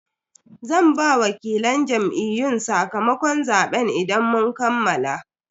Zan ba wakilan Jam'iyyun sakamakon zaben idan mun kammala.